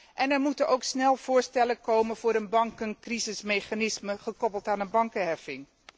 En er moeten ook snel voorstellen komen voor een bankencrisismechanisme, gekoppeld aan een bankenheffing.